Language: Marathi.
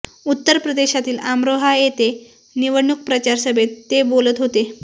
उत्तर प्रदेशातील आमरोहा येथे निवडणूक प्रचार सभेत ते बोलत होते